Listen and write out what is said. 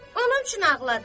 Onun üçün ağladı.